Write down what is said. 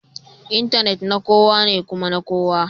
Intanet na kowa ne kuma na kowa